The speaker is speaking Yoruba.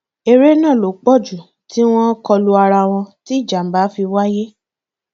èrè náà ló pọ jù tí wọn kò lu ara wọn tí ìjàmbá fi wáyé